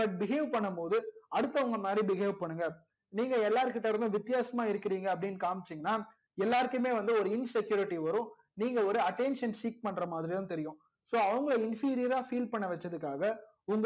but behave பண்ணும் போது அடுத்தவங்க மாதிரி behave பண்ணுங்க நீங்க எல்லார் கிட்ட இருந்தும் வித்யாசமா இருகிறிங்க அப்டின்னு காம்சிங்கனா எல்லாருக்குமே வந்து ஒரு insecurity வரும் ஒரு attention பண்றா மாதிரிதா தெரியும் so அவங்க inferior ரா feel பன்ன வச்சதுக்காக